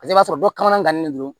Paseke i b'a sɔrɔ dɔ kana gannen don